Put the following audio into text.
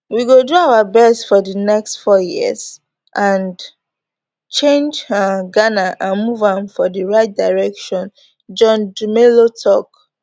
we go do our best for di next four years and change um ghana and move am for di right direction john dumelo tok